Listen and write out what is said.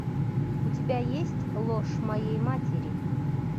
у тебя есть ложь моей матери